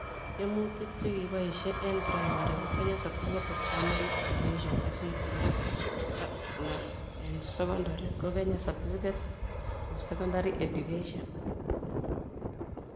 Tiemutik chekiboisie eng primary ko Kenya Certificate of Primary Education (KCPE) na eng secondary ko Kenya Certificate of Secondary Education (KCSE)